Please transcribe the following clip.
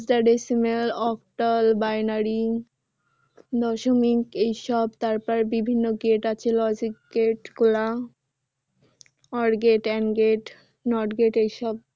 hexa decimal octal binary দশমিক এইসব তারপর বিভিন্ন gate আছে logic gate গুলা or gate and gate not gate এইসব